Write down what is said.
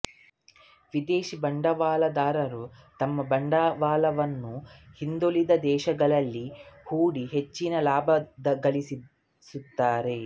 ವಿದೇಶಿ ಬಂಡವಾಳದಾರರು ತಮ್ಮ ಬಂಡವಾಳವನ್ನು ಹಿಂದುಳಿದ ದೇಶಗಳಲ್ಲಿ ಹೂಡಿ ಹೆಚ್ಚಿನ ಲಾಭಗಳಿಸುತ್ತಾರೆ